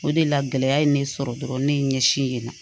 O de la gɛlɛya ye ne sɔrɔ dɔrɔn ne ye n ɲɛsin yen nɔ